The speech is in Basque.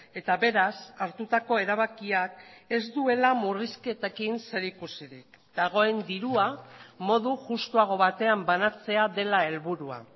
eta beraz hartutako erabakiak ez duela murrizketekin zerikusirik dagoen dirua modu justuago batean banatzea dela helburua